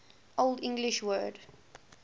old english word